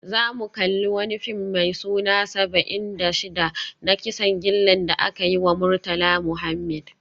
Za mu kalli wani fim mai suna Saba'in da Shida, na kisan gillar da aka yi wa Murtala Muhammed